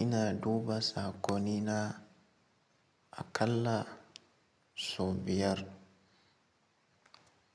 ina duba sakoni na aƙalla sau biyar.